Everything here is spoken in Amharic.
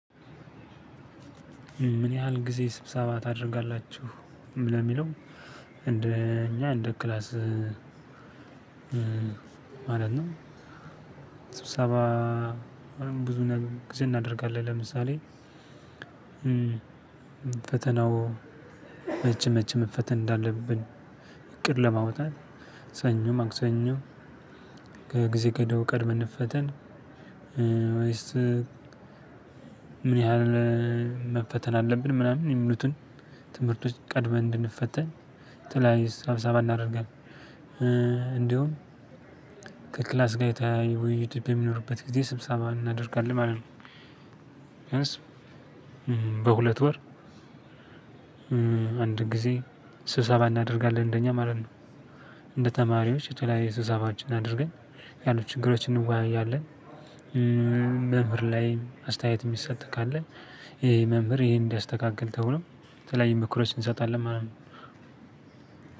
ምን ያህል ጊዜ ስብሰባ ታደርጋላችሁ? ነው የሚለው። እንደ እኛ እንደ ክላስ ማለት ነው ስብሰባ ብዙ ጊዜ እናደርጋለን። ለምሳሌ ፈተናው መቼ መቼ መፈተን እንዳለብን እቅድ ለማውጣት ሰኞ ማክሰኞ ከጊዜ ገደቡ ቀድመን እንፈተን ወይስ ምን ያህል መፈተን አለብን? ምናምን የሚሉትን ትምህርቶች ቀድመን እንድንፈተን የተለያዩ ስብሰባ አናደርጋለን። እንዲሁም ከክላስ ጋር የተለያዪ ውይይቶች በሚኖርበት ጊዜ ስብሳባ እናደርጋለን ማለት ነው። በሁለት ወር አንድ ጊዜ ስብሰባ እናደርጋለን እንደኛ ማለት ነው። እንደ ተማሪዎች የተለያየ ስብሰባዎችን አድርገን ያሉ ችግሮችን እንወያያለን። መምህር ላይ አስተያየት የሚሰጥ ካለ ይሄ መምህር ይሄን እንዲያስተካክል ተብሎ የተለያዩ ምክሮች እንሰጣለን ማለት ነው።